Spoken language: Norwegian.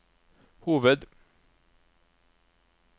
hoved